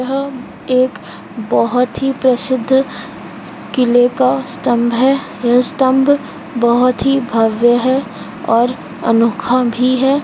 यह एक बहुत ही प्रसिद्ध किले का स्तंभ है ये स्तंभ बहुत ही भव्य है और अनोखा भी है।